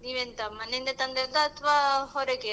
ನೀವ್ ಎಂತ ಮನೆಯಿಂದ ತಂದದ್ದ ಅತ್ವ ಹೊರಗೆ?